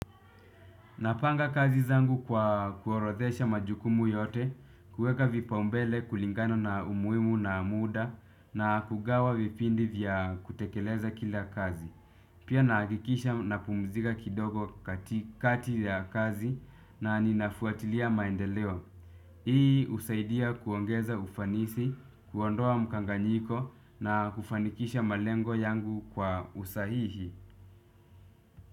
Napanga kazi zangu kwa kuorodhesha majukumu yote, kueka vipaumbele kulingano na umuimu na muda na kugawa vipindi vya kutekeleza kila kazi. Pia nakikisha napumzika kidogo kati ya kazi na ninafuatilia maendeleo. Hii usaidia kuongeza ufanisi, kuondoa mkanganyiko na kufanikisha malengo yangu kwa usahihi.